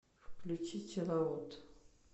включи чилаут